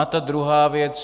A ta druhá věc.